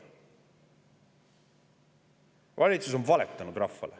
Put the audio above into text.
Valitsus on rahvale valetanud.